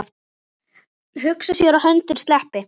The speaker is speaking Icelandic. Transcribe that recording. Hugsa sér að höndin sleppi.